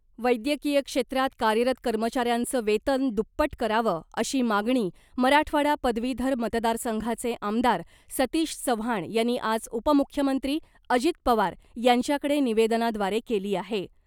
वैद्यकीय क्षेत्रात कार्यरत कर्मचाऱ्यांचं वेतन दुप्पट करावं अशी मागणी मराठवाडा पदवीधर मतदारसंघाचे आमदार सतीश चव्हाण यांनी आज उपमुख्यमंत्री अजित पवार यांच्याकडे निवेदनाद्वारे केली आहे .